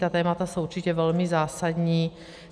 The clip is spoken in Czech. Ta témata jsou určitě velmi zásadní.